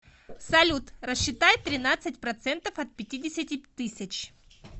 салют рассчитай тринадцать процентов от пятидесяти тысяч